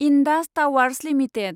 Indus Towers limited